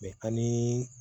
ani